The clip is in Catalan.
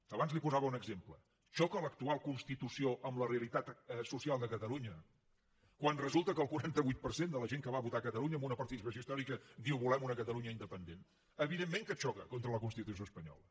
abans li’n posava un exemple xoca l’actual constitució amb la realitat social de catalunya quan resulta que el quaranta vuit per cent de la gent que va votar a catalunya amb una participació històrica diu volem una catalunya independent evidentment que xoca contra la constitució espanyola